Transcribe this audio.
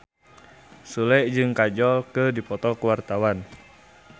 Sule jeung Kajol keur dipoto ku wartawan